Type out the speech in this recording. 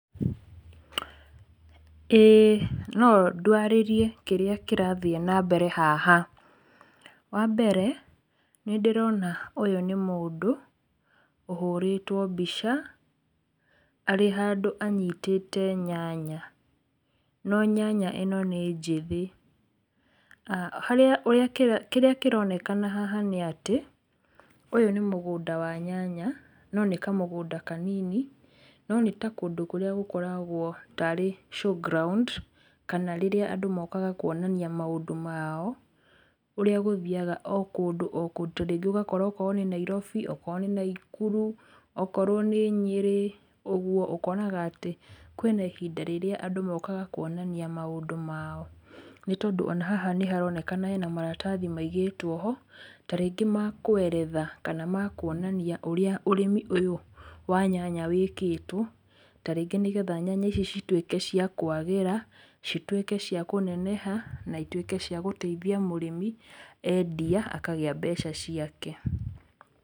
ĩĩ, no ndwarĩrie kĩrĩa kĩrathiĩ nambere haha, wambere, nĩndĩrona ũyũ nĩ mũndũ, ũhũrĩtwo mbica, arĩ handũ anyitĩte nyanya, no nyanya ĩno nĩ njĩthĩ, harĩa wekĩra, kĩrĩa kĩronekana haha nĩ atĩ, ũyũ nĩ mũgũnda wa nyanya, no nĩ kamũgũnda kanini, no nĩ kũndũ ta kũrĩa gũkoragwo tarĩ showground, kana rĩrĩa andũ mokaga kuonania maũndũ mao, ũrĩa gũthiaga o kũndũ o kũndũ, ta rĩngĩ ũgakora okorwo nĩ Nairobi, okorwo nĩ Naikuru, okorwo nĩ nyĩrĩ, ũguo ũkonaga atĩ, kwĩna ihinda rĩrĩa andũ mokaga kuonania maũndũ mao, nĩ tondũ ona haha nĩharonekana hena maratathi maigĩtwo ho, ta rĩngĩ ma kũeretha, kana ma kuonania ũrĩa ũrĩmi ũyũ wa nyanya wĩkĩtwo, ta rĩngĩ nĩgetha nyanya icio cituĩke cia kwagĩra, cituĩke cia kũneneha, na cituĩke cia gũteithia mũrĩmi, endia akagĩa mbeca ciake.